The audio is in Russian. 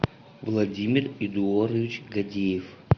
владимир эдуардович гадеев